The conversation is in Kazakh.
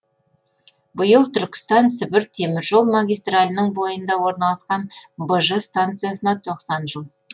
биыл түркістан сібір теміржол магистралінің бойында орналасқан быжы станциясына тоқсан жыл